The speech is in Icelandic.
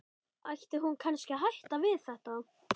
Ætti hún kannski að hætta við þetta?